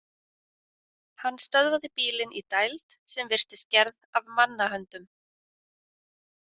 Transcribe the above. Hann stöðvaði bílinn í dæld sem virtist gerð af mannahöndum.